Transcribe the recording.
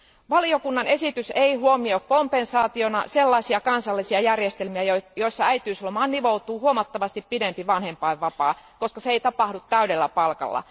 Valiokunnan esitys ei huomioi kompensaationa sellaisia kansallisia järjestelmiä, joissa äitiyslomaan nivoutuu huomattavasti pidempi vanhempainvapaa, koska se ei tapahdu täydellä palkalla.